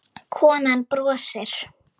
Konan brosir.